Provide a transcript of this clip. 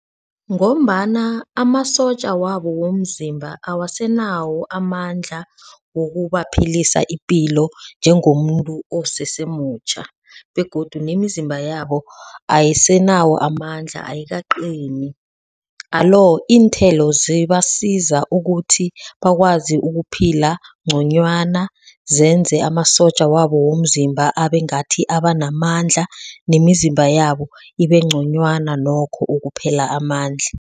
Ngombana amasotja wabo womzimba awasanawo amandla wokubaphilisa ipilo njengomuntu osesemutjha begodu nemizimba yabo ayisenawo amandla ayikaqini. Alo iinthelo zibasiza ukuthi bakwazi ukuphila ngconywana zenze amasotja wabo womzimba abe ngathi abanamandla nemizimba yabo ibe ngconywana nokho ukuphela amandla.